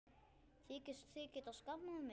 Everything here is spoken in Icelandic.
Þykist þið geta skammað mig!